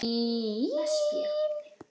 Það var því mikið undir.